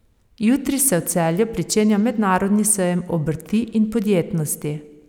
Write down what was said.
Jutri se v Celju pričenja Mednarodni sejem obrti in podjetnosti.